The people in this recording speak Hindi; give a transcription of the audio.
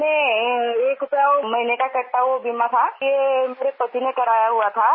हमने एक रुपया महीने का कटता वो बीमा था ये मेरे पति ने करवाया हुआ था